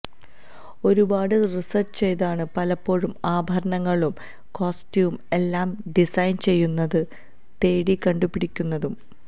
ഒരുപാട് റിസർച്ച് ചെയ്താണ് പലപ്പോഴും ആഭരണങ്ങളും കോസ്റ്റ്യൂം എല്ലാം ഡിസൈൻ ചെയ്യുന്നതും തേടി കണ്ടുപിടിക്കുന്നതും